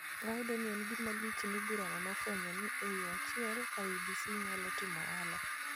Wayudo ni en gima lich ni burano nofwenyo ni e yo achiel, IEBC nyalo timo ohala